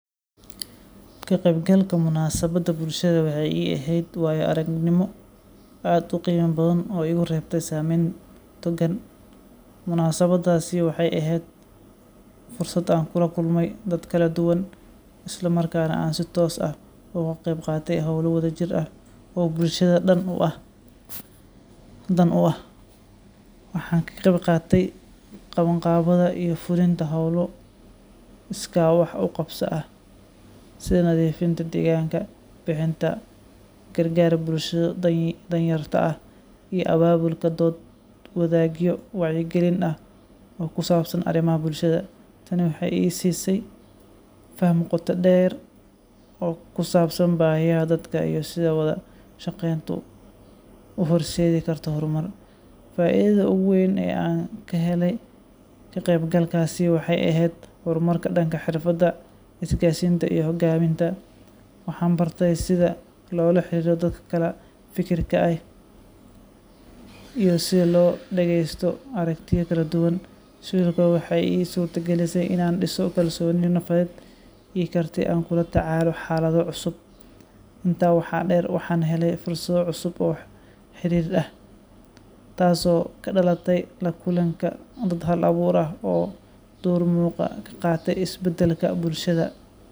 Ka-qaybgalka munaasabadda bulshada waxay ii ahayd waayo-aragnimo aad u qiimo badan oo igu reebtay saameyn togan. Munaasabaddaasi waxay ahayd fursad aan kula kulmay dad kala duwan, isla markaana aan si toos ah uga qeyb qaatay hawlo wadajir ah oo bulshada dan u ah. Waxaan ka qeyb qaatay qabanqaabada iyo fulinta hawlo iskaa wax u qabso ah sida nadiifinta deegaanka, bixinta gargaar bulshada danyarta ah, iyo abaabulka dood-wadaagyo wacyigelin ah oo ku saabsan arrimaha bulshada. Tani waxay i siisay faham qoto dheer oo ku saabsan baahiyaha dadka iyo sida wada shaqayntu u horseedi karto horumar. Faa’iidada ugu weyn ee aan ka helay ka-qaybgalkaasi waxay ahayd horumarka dhanka xirfadaha isgaarsiinta iyo hoggaaminta. Waxaan bartay sida loola xiriiro dad kala fikir ah, iyo sida loo dhageysto aragtiyo kala duwan. Sidoo kale, waxay ii suurtagelisay inaan dhiso kalsooni nafeed iyo karti aan kula tacaalo xaalado cusub. Intaa waxaa dheer, waxaan helay fursado cusub oo xiriir ah networking taasoo ka dhalatay la kulanka dad hal-abuur leh oo door muuqda ka qaata isbedelka bulshada.